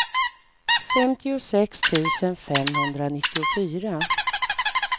femtiosex tusen femhundranittiofyra